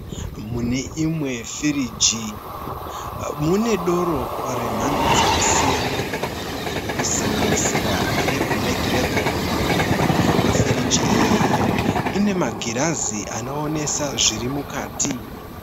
Mune Imwe firiji mune doro remhando dzakasiyana , kusanganisira re black lable. Firiji iyi ine magirazi anoonesa zviri mukati.